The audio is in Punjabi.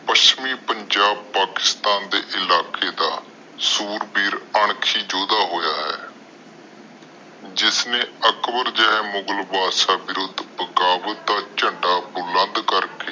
ਪੱਛਮੀ ਪੰਜਾਬ ਪਾਕਿਸ਼ਟਾਂ ਦੇ ਇਲਾਕੇ ਦੇ ਦਾ ਸੂਰਬੀਰ ਅਣਖੀ ਯੋਧਾ ਹੋਇਆ ਆ ਜਿਸਨੇ ਅਕਬਰ ਜਹੇ ਮੁਗ਼ਲ ਬੰਦਸ਼ ਬਿਰੁੱਧ ਬਗਾਵਤ ਦਾ ਝੰਡਾ ਬੁਲੰਦ ਕਰਕੇ